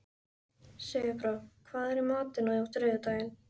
Sigurbára, hvað er í matinn á þriðjudaginn?